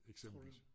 Eksempelvis